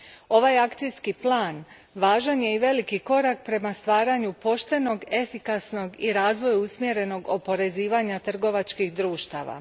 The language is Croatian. Ovaj akcijski plan važan je i veliki korak prema stvaranju poštenog, efikasnog, i razvoju usmjerenog oporezivanja trgovačkih društava.